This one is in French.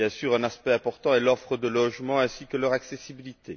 Bien sûr, un aspect important est l'offre de logements ainsi que leur accessibilité.